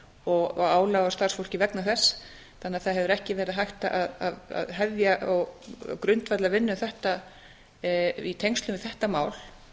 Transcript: og álag á starfsfólkið vegna þess þannig að það hefur ekki verið hægt að hefja og grundvalla vinnu í tengslum við þetta mál